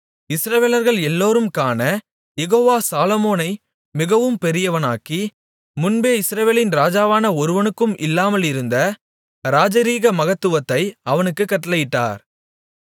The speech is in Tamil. இஸ்ரவேலர்கள் எல்லோரும் காணக் யெகோவா சாலொமோனை மிகவும் பெரியவனாக்கி முன்பே இஸ்ரவேலில் ராஜாவான ஒருவனுக்கும் இல்லாமலிருந்த ராஜரிக மகத்துவத்தை அவனுக்குக் கட்டளையிட்டார்